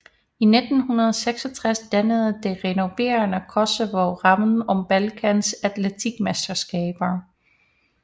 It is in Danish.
I 1966 dannede det renoverede Koševo rammen om Balkans atletikmesterskaber